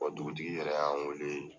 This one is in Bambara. Dugutigi yɛrɛ y' an wele.